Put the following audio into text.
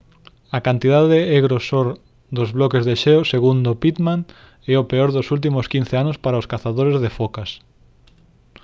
a cantidade e grosor dos bloques de xeo segundo pittman é o peor dos últimos 15 anos para os cazadores de focas